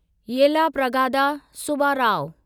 Yellapragada Subbarao